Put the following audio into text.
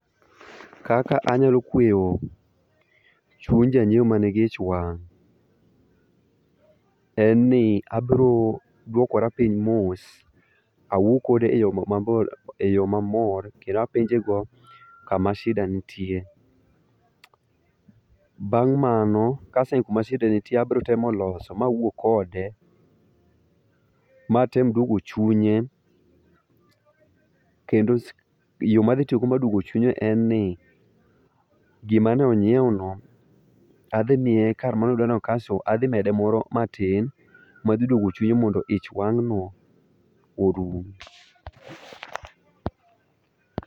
Kaka anyalo kweyo chuny janyiewo man gi ich wang'. En ni abiro duokora piny mos. Awuo kode e yo mamor kendo apenje go kama shida nitie. Bang' mano kaseng'e kama shida abiro temo loso mawuo kode. Matem duogo chunye. Kendo yo madhi tiyo go mar duogo chunye en ni gima ne onyiew no adhimiye kar mane odwa nokansil adhimede moro matin madgi duogo chunye mondo ich wang' no orum.